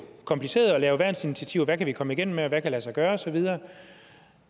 kompliceret at lave værnsinitiativer hvad kan vi komme igennem med og hvad kan lade sig gøre osv